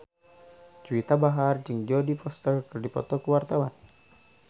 Juwita Bahar jeung Jodie Foster keur dipoto ku wartawan